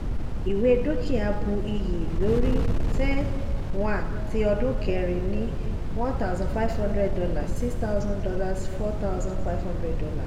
ìwé dúkìá bu iyì lórí ten one tí ọdún kẹrin ni one thusand five hundred dollar six thousand dollar four thousand five hundred dollar